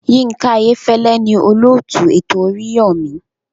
Yinka Ayefele ni olóòtú ètò oríyọmi.